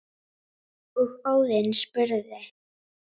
og Óðinn spurði